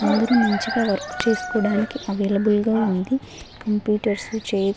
అందరూ మంచిగా వర్క్ చేసుకోవడానికి అవైలబుల్ గా ఉంది కంప్యూటర్స్ చైర్ --